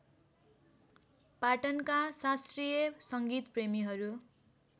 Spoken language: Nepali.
पाटनका शास्त्रीय सङ्गीतप्रेमीहरू